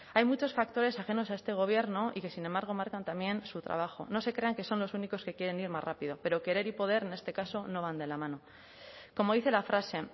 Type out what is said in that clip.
hay muchos factores ajenos a este gobierno y que sin embargo marcan también su trabajo no se crean que son los únicos que quieren ir más rápido pero querer y poder en este caso no van de la mano como dice la frase